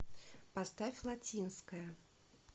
поставь латинская